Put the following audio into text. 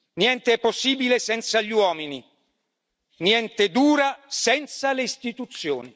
Niente è possibile senza gli uomini, niente dura senza le istituzioni.